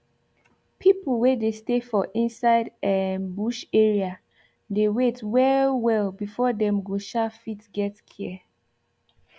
pipu wey dey stay for inside um bush area dey wait well well before dem go um fit get care